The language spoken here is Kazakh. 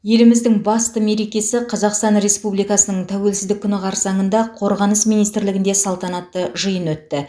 еліміздің басты мерекесі қазақстан республикасының тәуелсіздік күні қарсаңында қорғаныс министрлігінде салтанатты жиын өтті